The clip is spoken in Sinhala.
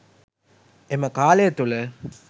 එම කාලය තුළ